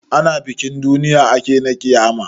Ana bikin duniya ake na ƙiyama